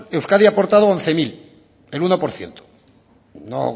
euskadi ha aportado once mil el uno por ciento no